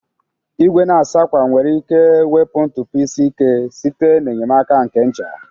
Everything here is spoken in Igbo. Igwe na-asa akwa nwere ike wepu ntụpọ isi ike site n'enyemaka nke ncha.